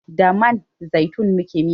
Da man zaitun muke miya